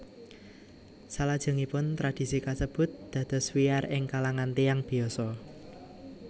Salajengipun tradisi kasebut dados wiyar ing kalangan tiyang biasa